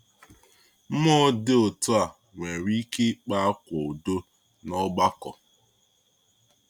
Mmụọ dị otu a nwere ike ịkpa ákwá udo n’ọgbakọ.